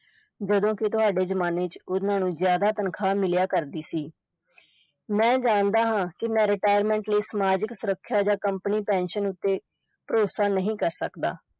ਜਦੋਂ ਕਿ ਤੁਹਾਡੇ ਜਮਾਨੇ ਚ ਉਨ੍ਹਾਂ ਨੂੰ ਜ਼ਿਆਦਾ ਤਨਖਾਹ ਮਿਲਿਆ ਕਰਦੀ ਸੀ ਮੈਂ ਜਾਣਦਾ ਹਾਂ ਕਿ ਮੈਂ retirement ਲਈ ਸਮਾਜਿਕ ਸੁਰੱਖਿਆ ਜਾਂ company pension ਉੱਤੇ ਭਰੋਸਾ ਨਹੀਂ ਕਰ ਸਕਦਾ।